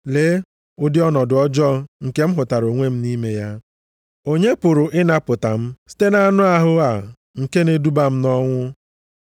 Lee ụdị ọnọdụ ọjọọ nke m hụtara onwe m nʼime ya! Onye pụrụ ịnapụta m site nʼanụ ahụ a nke na-eduba m nʼọnwụ?